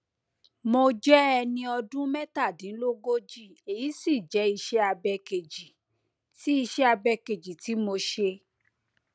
mo jẹ ẹni ọdún mẹtàdínlógójì èyí sì jẹ ìṣẹabẹ kejì tí ìṣẹabẹ kejì tí mo ṣe